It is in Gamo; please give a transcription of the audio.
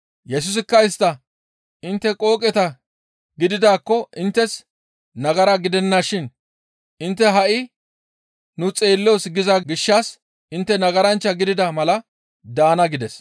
Yesusikka istta, «Intte qooqeta gididaakko inttes nagara gidennashin intte ha7i, ‹Nu xeelloos› giza gishshas intte nagaranchcha gidida mala daana» gides.